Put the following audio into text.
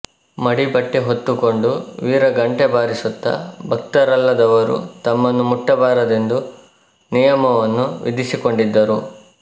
ಮಡಿ ಬಟ್ಟೆ ಹೊತ್ತುಕೊಂಡು ವೀರ ಘಂಟೆ ಬಾರಿಸುತ್ತ ಭಕ್ತರಲ್ಲದವರು ತಮ್ಮನ್ನು ಮುಟ್ಟಬಾರದೆಂದು ನಿಯಮವನ್ನು ವಿಧಿಸಿಕೊಂಡಿದ್ದರು